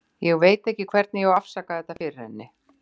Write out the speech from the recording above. Ég veit ekki hvernig ég á að afsaka þetta fyrir henni.